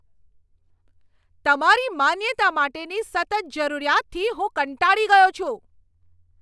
તમારી માન્યતા માટેની સતત જરૂરિયાતથી હું કંટાળી ગયો છું.